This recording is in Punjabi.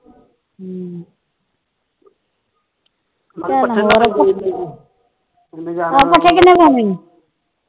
ਹਮ ਪੱਠੇ